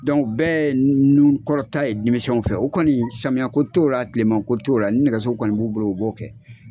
bɛɛ ye nu kɔrɔta ye denmisɛnw fɛ, o kɔni samiyɛ ko t'o ra tileman ko t'o ra ni nɛgɛso kɔni b'u bolo u b'o kɛ.